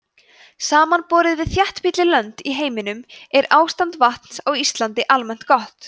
samanborið við þéttbýlli lönd í heiminum er ástand vatns á íslandi almennt gott